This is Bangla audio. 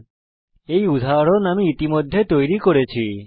এখানে এটি হল একটি উদাহরণ যা আমি ইতিমধ্যে তৈরি করেছি